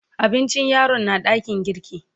Abincin yaron na dakin girki.